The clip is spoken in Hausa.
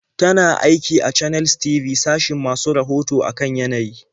Tana aiki a Channels TV sashin masu rahoto a kan yanayi.